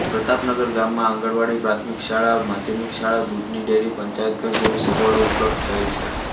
પ્રતાપનગર ગામમાં આંગણવાડી પ્રાથમિક શાળા માધ્યમિક શાળા દૂધની ડેરી પંચાયતઘર જેવી સગવડો ઉપલબ્ધ થયેલ છે